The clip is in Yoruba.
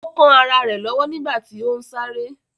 Ó kán ará rẹ̀ lọ́wọ́ nígbàtí ó ún sáré